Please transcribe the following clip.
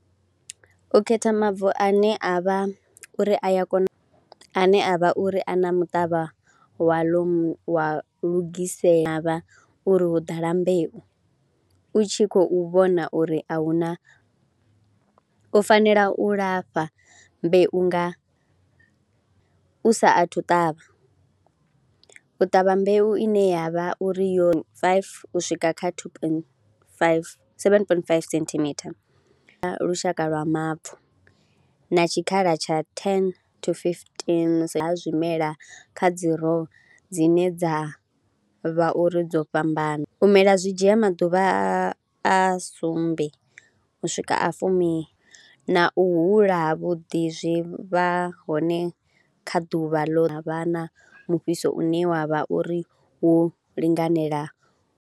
U khetha mavu ane a vha uri a ya kona, ane a vha uri a na muṱavha waḽo wa lugisela vha uri ho ḓala mbeu, u tshi khou vhona uri a hu na, u fanela u lafha mbeu nga u saathu u ṱavha, u ṱavha mbeu ine ya vha uri yo faifi u swika kha thuu poindi faifi, sevene poindi faifi senthimitha kha lushaka lwa mavu na tshikhala tsha thene to fifitini kha zwimela kha dzi rou dzine dza vha uri dzo fhambana. U mela zwi dzhia maḓuvha a a sumbe u swika a fumi na u hula havhuḓi zwi vha hone kha ḓuvha ḽo vha na mufhiso une wa vha uri wo linganela.